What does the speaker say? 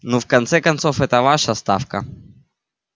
ну в конце-концов эта ваша ставка